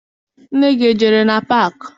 Nne gị ejere na paakị?